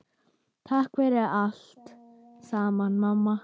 Takk fyrir allt saman, mamma.